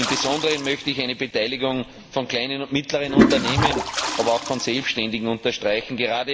Im Besonderen möchte ich eine Beteiligung von kleinen und mittleren Unternehmen, aber auch von Selbständigen unterstreichen.